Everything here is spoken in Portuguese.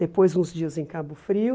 Depois, uns dias em Cabo Frio.